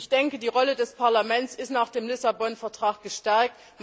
Ich denke, die Rolle des Parlaments ist nach dem Lissabon Vertrag gestärkt.